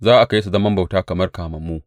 Za a kai su zaman bauta kamar kamammu.